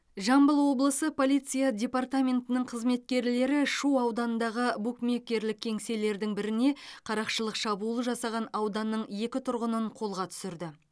жамбыл облысы полиция департаментінің қызметкерлері шу ауданындағы букмекерлік кеңселердің біріне қарақшылық шабуыл жасаған ауданның екі тұрғынын қолға түсірді